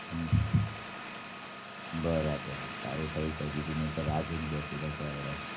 હમ બરાબર સારું થયું કઈ દીધું નૈતર રાહ જોઈન બેઠી રોત હમણાં